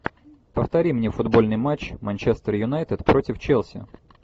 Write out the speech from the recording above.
повтори мне футбольный матч манчестер юнайтед против челси